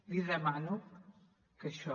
li demano que això